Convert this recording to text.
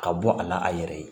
Ka bɔ a la a yɛrɛ ye